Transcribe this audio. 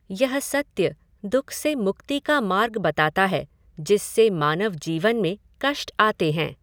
यह सत्य दुःख से मुक्ति का मार्ग बताता है जिससे मानव जीवन में कष्ट आते हैं।